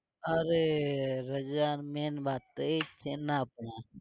અરે રજા main વાત તોએ જ છે ને આપણે